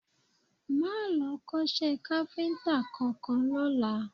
Máa lọ kọ́ṣẹ́ káfíńtà kankan lọ́la